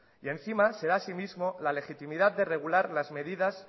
y encima se da a sí mismo la legitimidad de regular las medidas